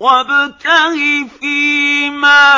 وَابْتَغِ فِيمَا